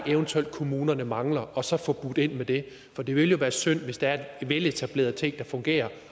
eventuelt er kommunerne mangler og så får budt ind med det for det vil jo være synd hvis der er veletablerede ting der fungerer